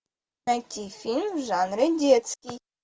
найти фильм в жанре детский